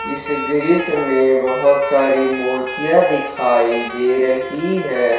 इस दृश्य में बहोत सारी मूर्तियां दिखाई दे रही है।